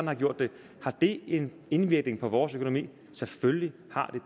har gjort det har det en indvirkning på vores økonomi selvfølgelig har